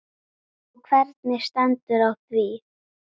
Og hvernig stendur á því?